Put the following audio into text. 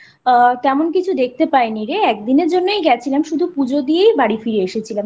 আ তেমন কিছু দেখতে পাই নি রে একদিন এর জন্যই গেছিলাম শুধু পুজো দিয়ে বাড়ি ফিরে এসেছিলাম